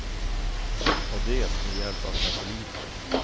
Och det med hjälp av satelliter.